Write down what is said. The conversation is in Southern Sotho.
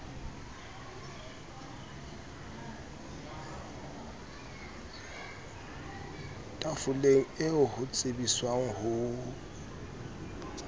tafoleng eo ho tsebiswang ho